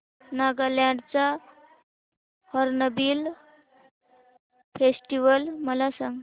नागालँड चा hornbill festival मला सांग